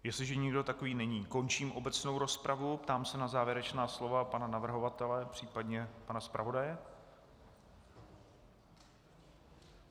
Jestliže nikdo takový není, končím obecnou rozpravu a ptám se na závěrečná slova pana navrhovatele, případně pana zpravodaje.